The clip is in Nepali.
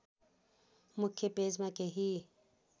मुख्य पेजमा केही